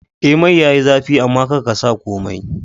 Eh mai yayi zafi amma karka sa komai